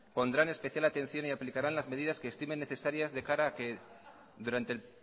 pondrán especial atención y aplicaran las medidas que estimen necesarias de cara a que durante el